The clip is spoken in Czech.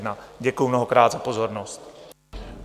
Děkuji mnohokrát za pozornost.